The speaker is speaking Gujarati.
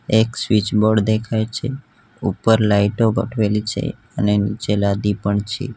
એક સ્વિચબોર્ડ દેખાય છે ઉપર લાઈટો આવેલી છે અને નીચે લાદી પણ છે.